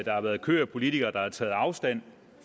har været en kø af politikere der har taget afstand